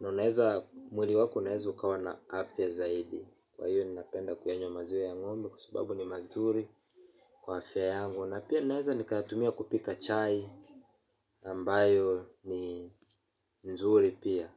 na unaweza, mwili wako unaweza ukawa na afya zaidi. Kwa hiyo ninapenda kuyanywa maziwa ya ng'ombe kwa sababu ni mazuri kwa afya yangu na pia ninaweza nikayatumia kupika chai ambayo ni nzuri pia.